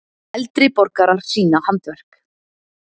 Eldri borgarar sýna handverk